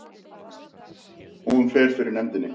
Hún fer fyrir nefndinni